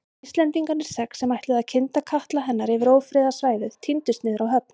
Íslendingarnir sex, sem ætluðu að kynda katla hennar yfir ófriðarsvæðið tíndust niður á höfn.